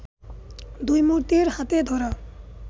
দুই মূর্তির হাতে ধরা